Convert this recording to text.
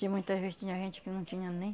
tinha muitas vezes tinha gente que não tinha nem